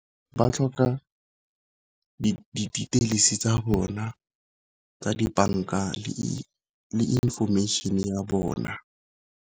Ba tlhoka di-details-i tsa bona tsa dibanka le information ya bona.